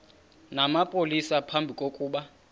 namapolisa phambi kokuba